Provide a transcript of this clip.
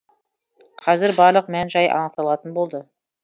қазір барлық мән жай анықталатын болады